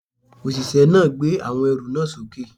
Òṣìṣẹ́ náà gbé àwọn ẹrù náà sókè